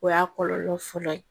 O y'a kɔlɔlɔ fɔlɔ ye